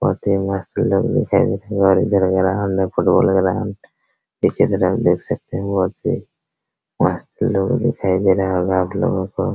बहुत ही मस्त लोग दिखाई दे रहा है उधर ग्राउंड लोग फुटबॉल ग्राउंड इसी तरह आप देख सकते हैं वहां पर बहुत मस्त लोग दिखाई दे रहा होगा आप लोगों को।